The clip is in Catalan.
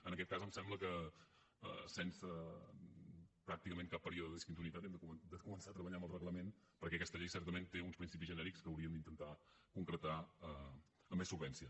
en aquest cas em sembla que sense pràcticament cap període de discontinuïtat hem de començar a treballar en el reglament perquè aquesta llei certament té uns principis genèrics que hauríem d’intentar concretar amb més solvència